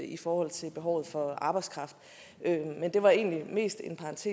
i forhold til behovet for arbejdskraft men det var egentlig mest en parentes